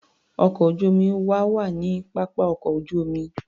Ọkọ̀ ojú-omi wa wà ní pápá ọkọ̀ ojú-omi.